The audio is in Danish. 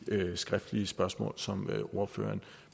skriftlige spørgsmål som ordføreren